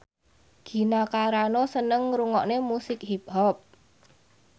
Gina Carano seneng ngrungokne musik hip hop